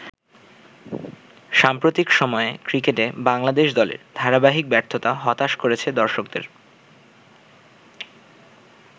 সাম্প্রতিক সময়ে ক্রিকেটে বাংলাদেশ দলের ধারাবাহিক ব্যর্থতা হতাশ করেছে দর্শকদের।